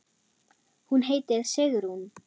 Hún heitir Sigrún.